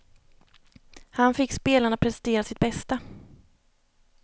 Han fick spelarna att prestera sitt bästa.